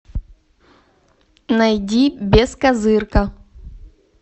найди бескозырка